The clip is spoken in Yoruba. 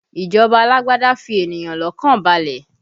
Ìjọba alágbádá fi ènìyàn lọ́kàn balẹ̀